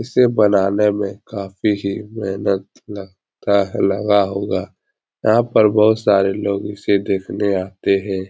इसे बनाने में काफी ही मेहनत लगता है लगा होगा यहाँ पर बहुत सारे लोग इसे देखने आते हैं ।